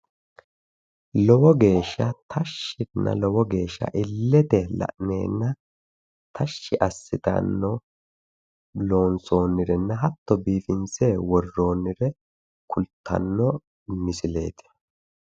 Lowo geeshsha illete la'neenna tashshi assitanno loonsoonnirinna hatto biifinse worroonnire kultanno misileeti.